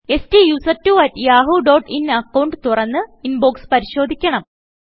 സ്റ്റുസെർട്ട്വോ at Yahoo dot in account തുറന്ന് inbox പരിശോധിക്കണം